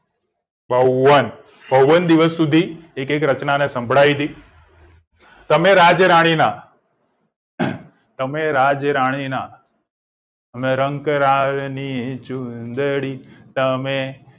બાવન બાવન દિવસ સુધી રચના સંભળાવી હતી તમે રાજ રાણીના તમે રાજ રાણીના અને રંક રાકની ચુદડી તમે